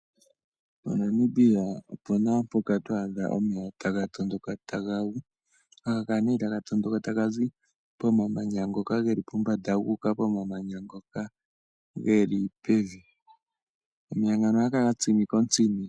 MoNamibia opu na mpoka to adha tapu tondoka omeya taga tondoka taga gu, ohaga kala taga tondoka ihe ga zi pomamanya ngoka ge li pombanda gu uka pomamanya ngoka ge li pevi. Omeya ngaka ohaga kala ga tsimika ontsi.